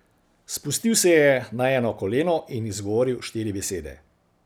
Spustil se je na eno koleno in izgovoril štiri besede.